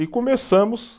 E começamos